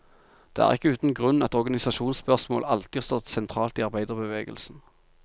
Det er ikke uten grunn at organisasjonsspørsmål alltid har stått sentralt i arbeiderbevegelsen.